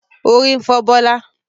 Orí ń fọ Bọlá